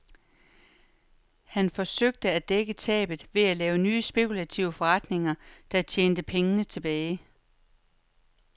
Han forsøgte at dække tabet ved at lave nye spekulative forretninger, der tjente pengene tilbage.